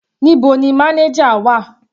Níbo ni manager wà?